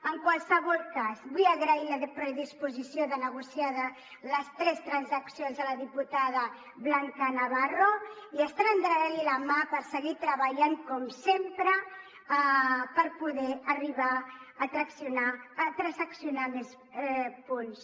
en qualsevol cas vull agrair la predisposició de negociar les tres transaccions a la diputada blanca navarro i estem estenent li la mà per seguir treballant com sempre per poder arribar a transaccionar més punts